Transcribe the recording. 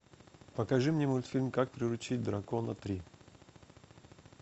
покажи мне мультфильм как приручить дракона три